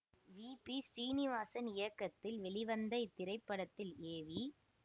we P Srinivasan இயக்கத்தில் வெளிவந்த இத்திரைப்படத்தில் ஏ வி